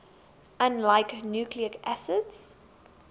unlike nucleic acids